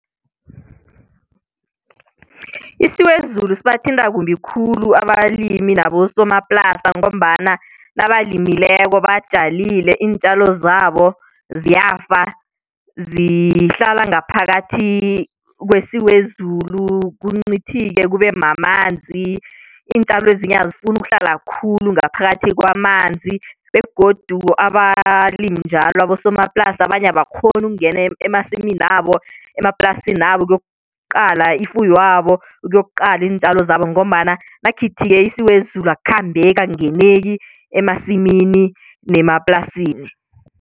Isiwezulu sibathinta kumbi khulu abalimi nabosomaplasa ngombana nabalimeleko batjalile iintjalo zabo ziyafa zihlala ngaphakathi kwesiwezulu kuncithike kube mamanzi iintjalo ezinye azifuni ukuhlala khulu ngaphakathi kwamanzi begodu abalimi njalo abosomaplasi abanye abakghoni ukungena emasiminabo, emaplasinabo ukuyokuqala ifuywabo, ukuyokuqala iintjalo zabo ngombana nakukhithike isiwezulu akukhambeki, akungeneki emasimini nemaplasini.